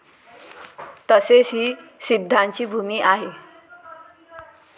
तसेच ही सिद्धांची भूमी आहे.